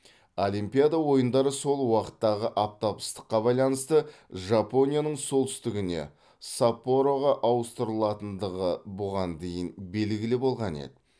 олимпиада ойындары сол уақыттағы аптап ыстыққа байланысты жапонияның солтүстігіне саппороға ауыстырылатындығы бұған дейін белгілі болған еді